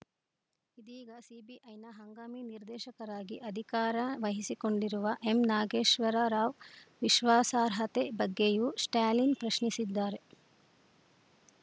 ಇದೀಗ ಸಿಬಿಐನ ಹಂಗಾಮಿ ನಿರ್ದೇಶಕರಾಗಿ ಅಧಿಕಾರ ವಹಿಸಿಕೊಂಡಿರುವ ಎಂನಾಗೇಶ್ವರ ರಾವ್‌ ವಿಶ್ವಾಸಾರ್ಹತೆ ಬಗ್ಗೆಯೂ ಸ್ಟಾಲಿನ್‌ ಪ್ರಶ್ನಿಸಿದ್ದಾರೆ